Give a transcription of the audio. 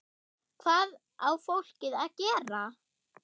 Hvað á fólkið að gera?